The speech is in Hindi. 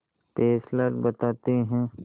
फेस्लर बताते हैं